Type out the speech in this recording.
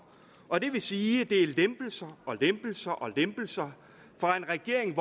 og det vil sige at det er lempelser og lempelser og lempelser fra en regering